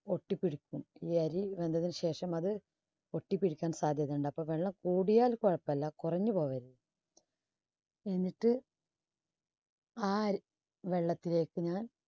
ഒട്ടിപ്പിടിക്കും. ഈ അരി വെന്തതിനു ശേഷം അത് ഒട്ടിപ്പിടിക്കാൻ സാധ്യത ഉണ്ട്. അപ്പൊ വെള്ളം കൂടിയാൽ കൊഴപ്പില്ല കുറഞ്ഞുപോകരുത് എന്നിട്ട് ആ വെള്ളത്തിലേക്ക് ഞാൻ